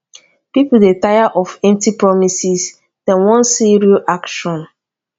pipo dey tire of empty promises dem wan see real action